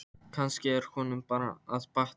Kannski er honum bara að batna.